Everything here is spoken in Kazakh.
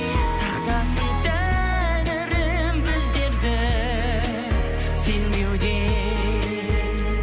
сақтасын тәңірім біздерді сенбеуден